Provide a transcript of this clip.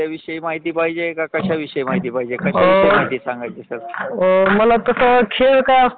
तुम्ही बऱ्याच शेत्रामध्ये अशा नोकरीच्या संधी उपलब्ध असतात